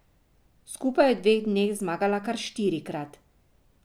Skupaj je v dveh dneh zmagala kar štirikrat.